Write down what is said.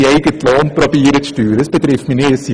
Mein Vorstoss betrifft nicht mich.